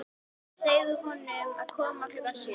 Segðu honum að koma klukkan sjö.